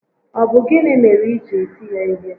Ọ bụ gịnị mere i ji eti ya ihe?